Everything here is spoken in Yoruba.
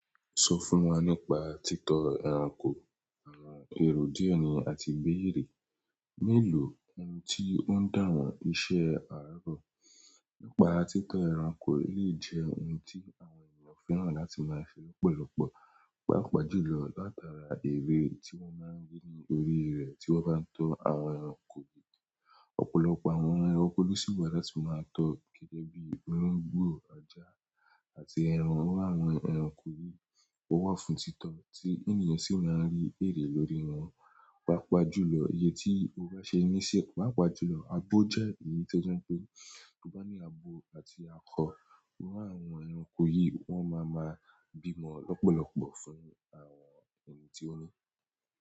Sọ fún wa nípa títọ́ ẹranko, àwọn èrò díẹ̀ ni àti gbérè mélòó ohun tí ó ń dàwọ́ iṣẹ́ àárọ̀. Nípa títọ́ ẹranko lè jẹ́ ohun tí àwọn ènìyàn fẹ́ràn láti máa ṣe lọ́pọ̀lọpọ̀, pàápàá jùlọ látara èrè tí wọ́n máa ń rí ní orí rẹ̀ tí wọ́n bá ń tọ́ àwọn ẹranko yìí. Ọ̀pọ̀lọpọ̀ àwọn ẹranko lóṣi wà láti máa tọ́, gẹ́gẹ́ bíi olongbo, ajà, àti ẹran. Wọ́n wá àwọn ẹranko yìí tó wà fún títọ́ tí ènìyàn sì máa ń rí èrè lórí wọn, pàápàá jùlọ iyé tí o bá ṣe níṣẹ́. Pàápàá jùlọ, abo jẹ́ èyí tó jẹ́ pé kí ó bá ní abo àti akọ, irú àwọn ẹranko yìí wọ́n máa máa bímọ lọ́pọ̀lọpọ̀ fún àwọn ẹni tí ó ní.